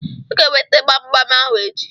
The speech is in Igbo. Ị ga-eweta gbam gbam ahụ echi.